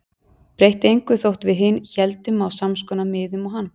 Breytti engu þótt við hin héldum á samskonar miðum og hann.